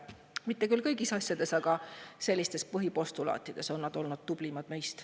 Mitte küll kõigis asjades, aga sellistes põhipostulaatides on nad olnud meist tublimad.